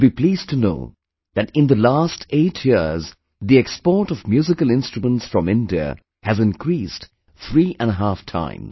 You will be pleased to know that in the last 8 years the export of musical instruments from India has increased three and a half times